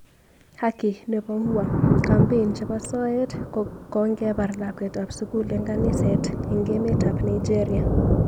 #HakineboUwa , gambein chebo soet kongebar lakwetab sugul eng kaniset eng emet ab Nigeria